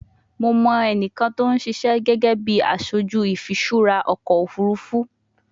Mo mọ ẹnikan ti o sise gege bi aṣoju ifiṣura ọkọ ofurufu